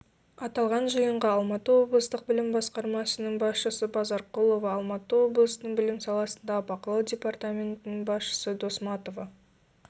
аталған жиынға алматы облыстық білім басқармасының басшысы базарқұлова алматы облысының білім саласындағы бақылау департаментінің басшысы досматова